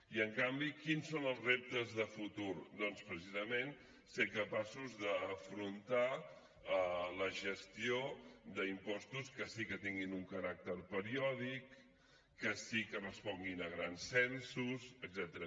i en canvi quins són els reptes de futur doncs precisament ser capaços d’afrontar la gestió d’impostos que sí que tinguin un caràcter periòdic que sí que responguin a grans censos etcètera